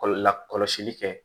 Kɔlɔ la kɔlɔsili kɛ